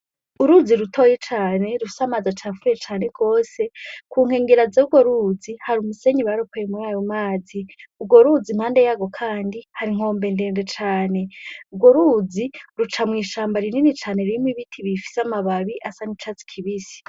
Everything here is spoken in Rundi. Uruzi rutoya cane, rufise amazi acafuye cane gose, ku nkengera z'urwo ruzi, hari umusenyi baropoye muri ayo mazi. Urwo ruzi impande yarwo kandi, hari inkombe ndende cane. Urwo ruzi ruca mw'ishamba rinini cane, ririmwo ibiti bifise amababi asa n'icatsi kibisi.